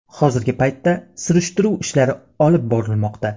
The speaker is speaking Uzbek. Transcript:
Hozirgi paytda surishtiruv ishlari olib borilmoqda.